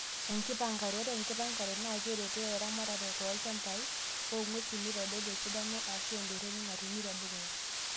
Enkipangare; Ore enkipanagre naakeretoo eramatare toolchambai ong'wesin neitodolu esidano eshuu entoroni natumi tedukuya.